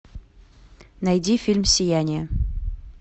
найди фильм сияние